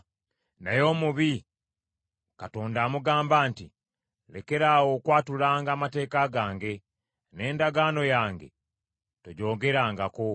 Naye omubi Katonda amugamba nti, “Lekeraawo okwatulanga amateeka gange, n’endagaano yange togyogerangako.